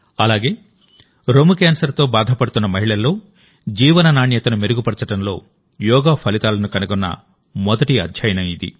అలాగేరొమ్ము క్యాన్సర్తో బాధపడుతున్న మహిళల్లో జీవన నాణ్యతను మెరుగుపరచడంలో యోగా ఫలితాలను కనుగొన్న మొదటి అధ్యయనం ఇది